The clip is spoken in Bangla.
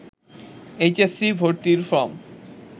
এইচ এস সি ভর্তি ফরম